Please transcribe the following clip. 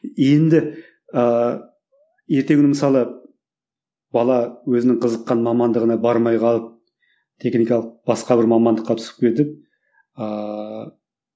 енді ыыы ертеңгі күні мысалы бала өзінің қызыққан мамандығына бармай қалып техникалық басқа бір мамандыққа түсіп кетіп ааа